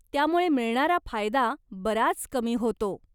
त्यामुळे मिळणारा फायदा बराच कमी होतो.